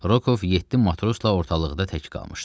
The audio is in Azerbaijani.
Rokov yeddi matrosla ortalıqda tək qalmışdı.